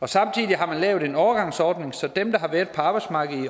og samtidig har man lavet en overgangsordning så dem der har været på arbejdsmarkedet